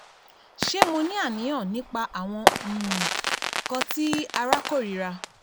Ṣe Mo ni aniyan nipa awọn um nkan ti ara korira